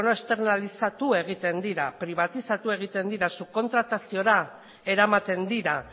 externalizatu egiten dira pribatizatu egiten dira subkontrataziora eramaten dira